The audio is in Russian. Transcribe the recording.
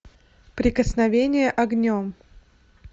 прикосновение огнем